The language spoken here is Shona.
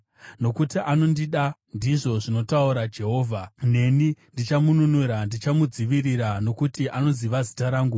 “Nokuti anondida,” ndizvo zvinotaura Jehovha, “neni ndichamununura; ndichamudzivirira, nokuti anoziva zita rangu.